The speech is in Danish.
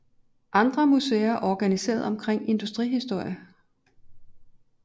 Andre museer er organiseret omkring industrihistorie